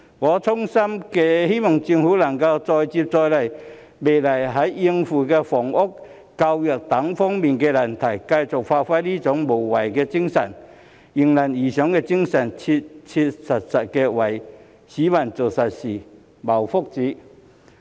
我衷心希望政府能再接再厲，未來在應付房屋、教育等難題上繼續發揮這種無畏無懼、迎難而上的精神，切切實實為市民做實事、謀福祉。